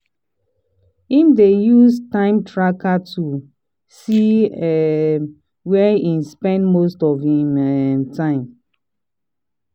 him dey use time tracking tools see um where him spend most of him um time.